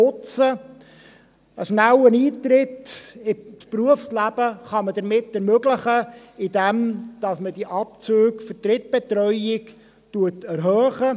Einen schnelleren Eintritt ins Berufsleben kann man ermöglichen, indem man die Abzüge für Drittbetreuung erhöht.